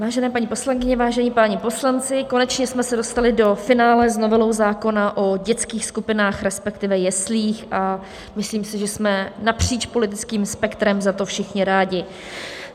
Vážené paní poslankyně, vážení páni poslanci, konečně jsme se dostali do finále s novelou zákona o dětských skupinách, respektive jeslích, a myslím si, že jsme napříč politickým spektrem za to všichni rádi.